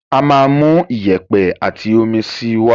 Á máa mú iyẹ̀pẹ̀ àti omi síi wá.